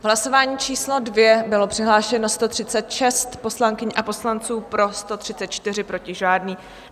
V hlasování číslo 2 bylo přihlášeno 136 poslankyň a poslanců, pro 134, proti žádný.